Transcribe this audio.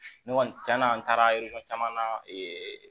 Ne kɔni cɛn na an taara caman na ee